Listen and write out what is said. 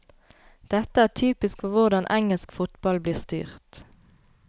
Dette er typisk for hvordan engelsk fotball blir styrt.